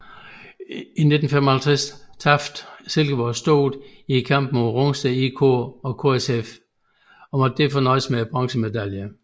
I 1955 tabte Silkeborg stort i kampene mod Rungsted IK og KSF og måtte derfor nøjes med bronzemedaljerne